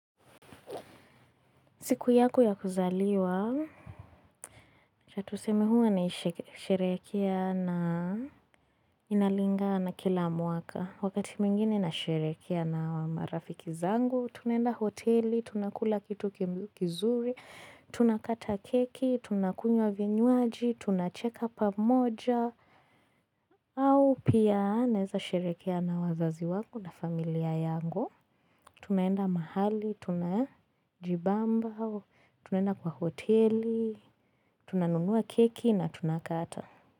Siku yangu ya kuzaliwa, acha tuseme huwa naisherehekea na inalingana kila mwaka. Wakati mwingine nasherehekea na marafiki zangu, tunaenda hoteli, tunakula kitu kizuri, tunakata keki, tunakunywa vinywaji, tunacheka pamoja, au pia naeza sherehekea na wazazi wangu na familia yangu. Tunaenda mahali, tunajibamba, tunaenda kwa hoteli, tunanunua keki na tunakata.